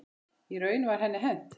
Í raun var henni hent.